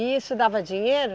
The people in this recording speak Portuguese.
E isso dava dinheiro?